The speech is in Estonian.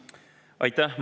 Aitäh!